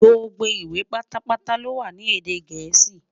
Gbogbo ìwé pátá pátá lowa ní èdè gèésì